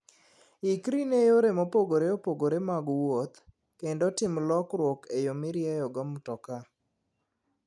Ikri ne yore mopogore opogore mag wuoth, kendo tim lokruok e yo mirieyogo mtoka.